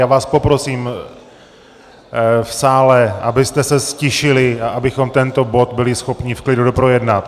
Já vás poprosím v sále, abyste se ztišili a abychom tento bod byli schopni v klidu doprojednat.